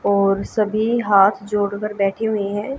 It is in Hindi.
और सभी हाथ जोड़ कर बैठे हुए है।